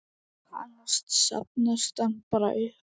Annars safnast hann bara upp.